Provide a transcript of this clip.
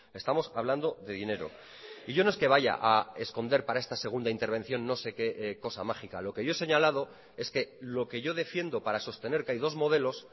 estamos hablando de dinero y yo no es que vaya a esconder para esta segunda intervención no sé qué cosa mágica lo que yo he señalado es que lo que yo defiendo para sostener que hay dos modelos